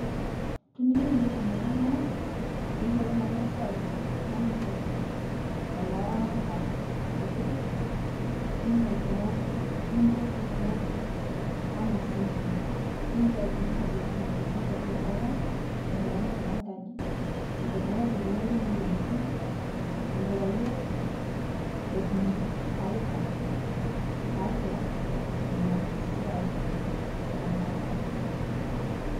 Tiniyeu nisuum ltung'ana pee eiyeloou ana siai naa ipoot looramat nkutitik niipoot meotuu, nipootu meotuu ana semina nilootu aifundus neikoo tenetubuul nkookon, neikoo teneshaataki nkaaji neikoo teneriip pee meetuum moyiriatin. Neikoo peiye etuum faida taatu nia siai e nkookon.